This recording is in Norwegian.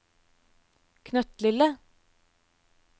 knøttlille